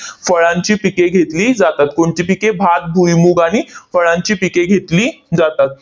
फळांची पिके घेतली जातात. कोणती पिके? भात, भुईमूग आणि फळांची पिके घेतली जातात.